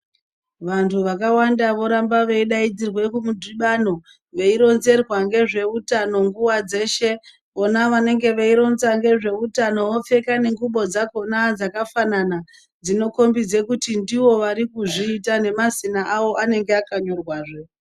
Vantu vakawanda voramba veidaidzirwa kumidhibano veironzerwa ngezvehutano nguwa dzeshe vona vanenge veironza ngezvehutano veitenga ngengubo dzakona dzakafanana dzinokombidza kuti ndivo vari kuzviita nemazina awo anenge akanyorwa zve.